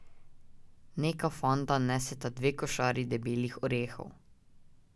Neka fanta neseta dve košari debelih orehov.